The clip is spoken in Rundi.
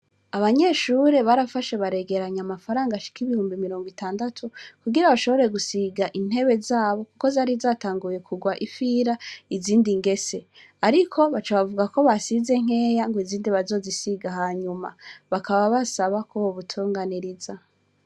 Abanyeshure barafashe baregeranya amafaranga ashika ibihumbi mirongo itandatu kugira bashobore gusiga intebe zabo, kuko zari zatanguye kugwa ifira izindi ngese, ariko baca bavuga ko basize nkeya ngo izindi bazozisiga hanyuma bakaba basaba ko bo butunganiriza.